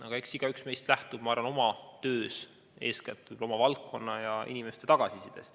Aga eks igaüks meist lähtub, ma arvan, oma töös eeskätt oma valdkonna ja inimeste tagasisidest.